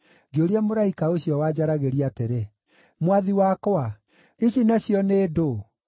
Ngĩũria mũraika ũcio wanjaragĩria atĩrĩ, “Mwathi wakwa, ici nacio nĩ ndũũ?”